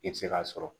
I bɛ se k'a sɔrɔ